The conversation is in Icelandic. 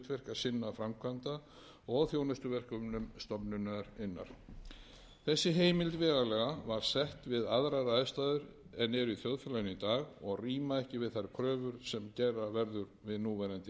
sem hafi það hlutverk að sinna framkvæmda og þjónustuverkefnum stofnunarinnar þessi heimild vegalaga var sett við aðrar aðstæður en eru í þjóðfélaginu í dag og rýma ekki við þær kröfur sem gera verður við núverandi aðstæður